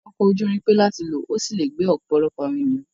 Ọkọ̀ ojú irin pé láti lò, ó sì lè gbé ọ̀pọ̀lọpọ̀ àwọn ènìyàn.